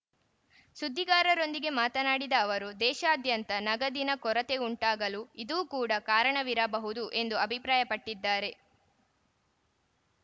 ಸುದ್ದಿಗಾರರೊಂದಿಗೆ ಮಾತನಾಡಿದ ಅವರು ದೇಶಾದ್ಯಂತ ನಗದಿನ ಕೊರತೆಯುಂಟಾಗಲು ಇದೂ ಕೂಡ ಕಾರಣವಿರಬಹುದು ಎಂದು ಅಭಿಪ್ರಾಯಪಟ್ಟಿದ್ದಾರೆ